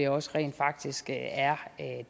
også rent faktisk er